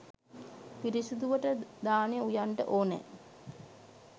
පිරිසිදුවට දානෙ උයන්ඩ ඕනෑ''.